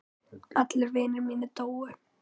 Allir vinir mínir dóu.